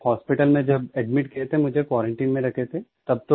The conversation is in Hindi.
हॉस्पिटल में जब एडमिट किया था तब मुझे क्वारंटाइन में रखे थे